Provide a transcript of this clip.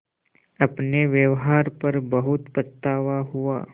अपने व्यवहार पर बहुत पछतावा हुआ